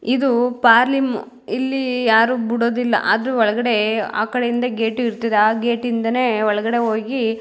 ಇದು ಪರ್ಲಿಮ್ ಇಲ್ಲಿ ಯಾರು ಬಿಡೋದಿಲ್ಲ ಆದ್ರೂ ಒಳಗಡೆ ಆ ಕಡೆಯಿಂದ ಗೇಟ್ ಇರತದೆ ಆ ಗೇಟ್ ಇಂದಾನೆ ಒಳಗಡೆ ಹೋಗಿ --